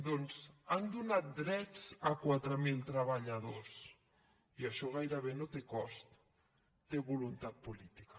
doncs han donat drets a quatre mil treballadors i això gairebé no te cost té voluntat política